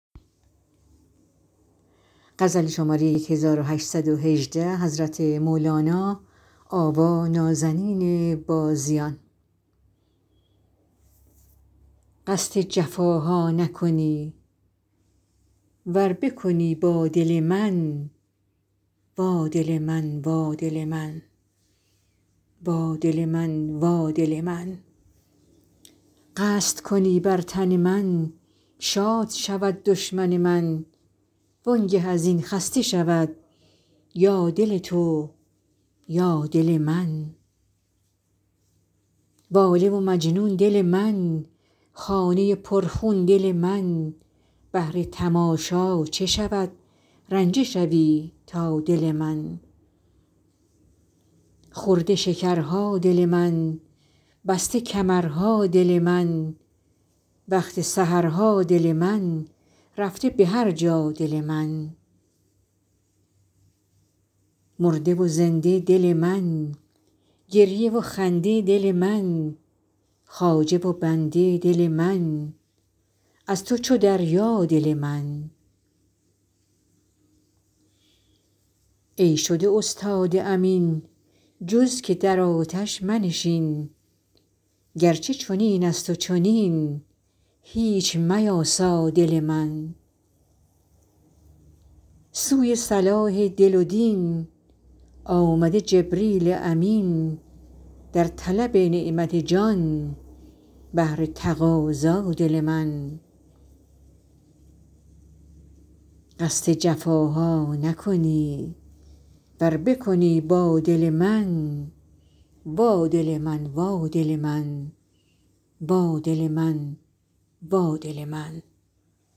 قصد جفاها نکنی ور بکنی با دل من وا دل من وا دل من وا دل من وا دل من قصد کنی بر تن من شاد شود دشمن من وانگه از این خسته شود یا دل تو یا دل من واله و مجنون دل من خانه پرخون دل من بهر تماشا چه شود رنجه شوی تا دل من خورده شکرها دل من بسته کمرها دل من وقت سحرها دل من رفته به هر جا دل من مرده و زنده دل من گریه و خنده دل من خواجه و بنده دل من از تو چو دریا دل من ای شده استاد امین جز که در آتش منشین گرچه چنین است و چنین هیچ میاسا دل من سوی صلاح دل و دین آمده جبریل امین در طلب نعمت جان بهر تقاضا دل من